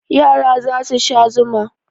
Yara za su sha zuma.